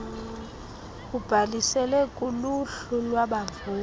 ubhalisile kuluhlu lwabavoti